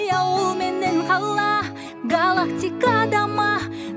ауыл менен қала галактикада ма